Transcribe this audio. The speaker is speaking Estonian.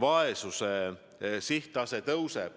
vaesuse tase tõuseb.